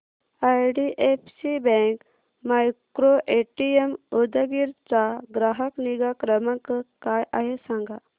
IDFC bank micro ATM Udgir चा ग्राहक निगा क्रमांक काय आहे सांगा